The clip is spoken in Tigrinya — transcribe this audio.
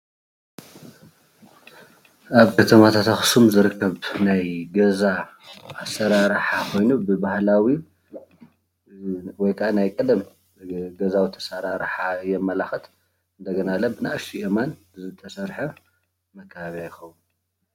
ኣብ ከተማታት ኣኽሱም ዝርከብ ናይ ገዛ አሰራርሓ ኾይኑ ብባህላዊ ወይ ካዓ ብናይ ቀደም ገዛውቲ አሠራርሓ የመላኽት እንደገናለ በናእሸተይ ኣእማን ዝተሰርሐ መከባብያ ይኸውን ።